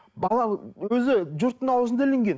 бала өзі жұрттың аузына ілінген